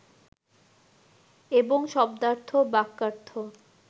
এবং শব্দার্থ, বাক্যার্থ